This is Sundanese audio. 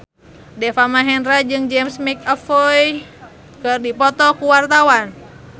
Deva Mahendra jeung James McAvoy keur dipoto ku wartawan